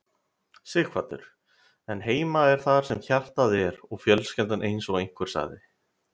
Sighvatur: En heima er þar sem hjartað er og fjölskyldan eins og einhver sagði?